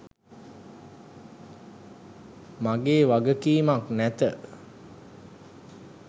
මගේ වගකීමක් නැත.